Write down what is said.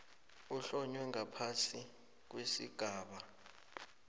ehlonywe ngaphasi kwesigaba